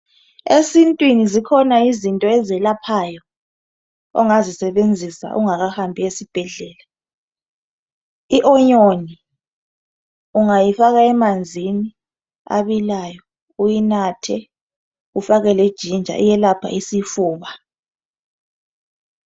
Esintwini zikhona izinto eziyelaphayo ungakahambi esibhedlela. I anyanisi ungayifaka emanzini abilayo uyinathe ufake le jinja iyelapha isifuba.